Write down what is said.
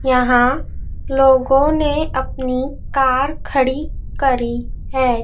यहाँ लोगों ने अपनी कार खड़ी करी हैं।